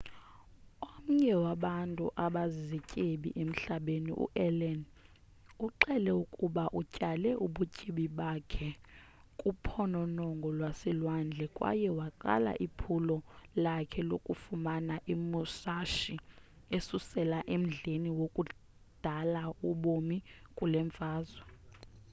omnye wabantu abazizityebi emhlabeni u-allen uxele ukuba utyale ubutyebi bakhe kuphononongo lwaselwandle kwaye waqala iphulo lakhe lokufumana imusashi esusela emdleni wakudala wobomi kule mfazwe